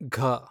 ಘ